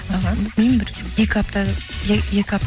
іхі білмеймін бір екі апта екі